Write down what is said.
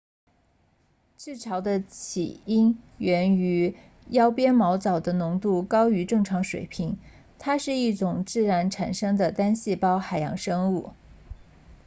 赤潮的起因源于腰鞭毛藻的浓度高于正常水平它是一种自然产生的单细胞海洋生物